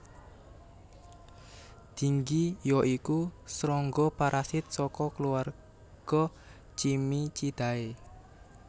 Tinggi ya iku srangga parasit saka keluarga Cimicidae